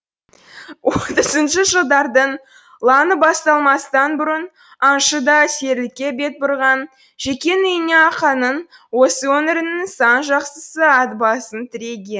отызыншы жылдардың лаңы басталмастан бұрын аңшы да серілікке бет бұрған жекеннің үйіне арқаның осы өңірінің сан жақсысы ат басын тіреген